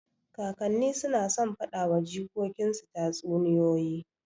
Kakanni suna son faɗa wa jikokin su tatsuniyoyi.